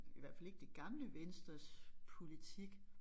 I hvert fald ikke det gamle venstres politik